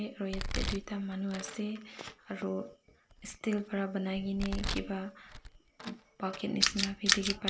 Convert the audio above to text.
ek roi yate duita manu ase aro steel para banai ki ni kiba bucket nisna bhi dikhi pai--